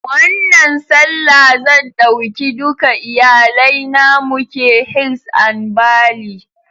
Wannan Sallah zan ɗauki duka iyalai na muke hils and bally